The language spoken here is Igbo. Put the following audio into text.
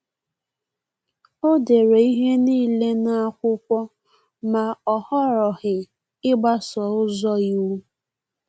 Ọ dere ihe niile n’akwụkwọ, ma o họrọghị ịgbaso ụzọ iwu